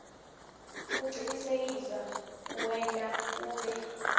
kucinisekisa kuwenta ube